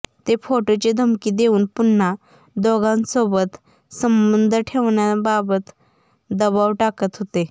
ते फोटोची धमकी देवून पुन्हा दोघांसोबत संबंध ठेवण्याबाबत दबाव टाकत होते